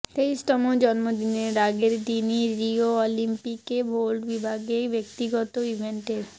তেইশতম জন্মদিনের আগের দিনই রিও অলিম্পিকে ভল্ট বিভাগে ব্যক্তিগত ইভেন্টের